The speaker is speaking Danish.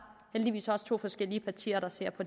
to forskellige partier der ser på